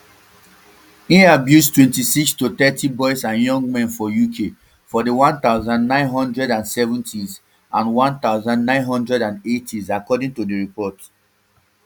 e abuse twenty-six to thirty boys and young men for uk for di one thousand, nine hundred and seventys and one thousand, nine hundred and eightys according to di report